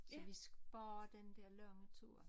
Så vi sparer den dér lange tur